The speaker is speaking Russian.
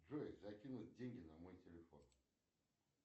джой закинуть деньги на мой телефон